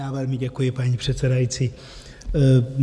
Já velmi děkuji, paní předsedající.